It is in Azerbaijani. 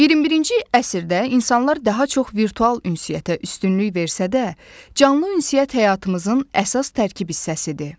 21-ci əsrdə insanlar daha çox virtual ünsiyyətə üstünlük versə də, canlı ünsiyyət həyatımızın əsas tərkib hissəsidir.